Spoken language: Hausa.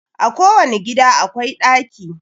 A ko wani gida akwai ɗaki